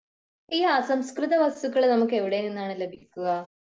ഈ അസംസ്കൃത വസ്തുക്കൾ നമുക്ക് എവിടെ നിന്നാണ് ലഭിക്കുക